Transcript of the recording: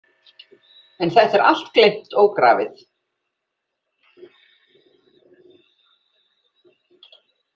En þetta er allt gleymt og grafið.